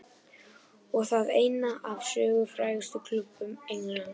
Og það einn af sögufrægustu klúbbum Englands.